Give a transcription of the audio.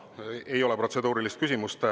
Aa, ei ole protseduurilist küsimust.